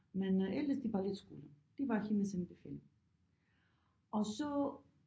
Men ellers det balletskolen det var hendes anbefaling og så